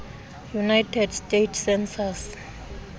united states census